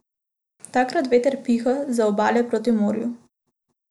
Takrat veter piha z obale proti morju.